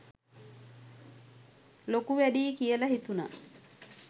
ලොකු වැඩියි කියලා හිතුනා.